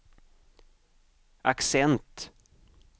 accent